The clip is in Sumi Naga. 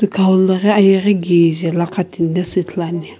Tikhau lo ghi ayeghi kije lakhi shi ithuluani.